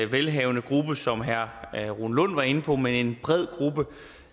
velhavende gruppe som herre rune lund var inde på men en bred gruppe